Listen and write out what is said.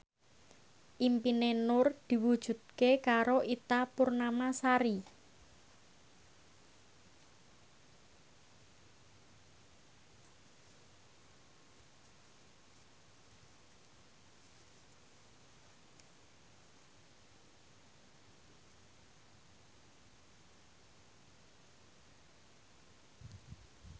impine Nur diwujudke karo Ita Purnamasari